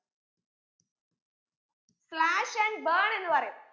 slash and burn എന്ന് പറയും